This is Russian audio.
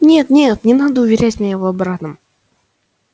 нет нет не надо уверять меня в обратном